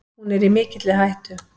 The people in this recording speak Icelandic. Hún er í mikilli hættu.